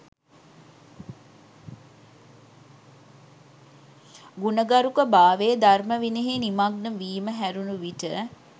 ගුණගරුක භාවය, ධර්ම විනයෙහි නිමග්න වීම හැරුණු විට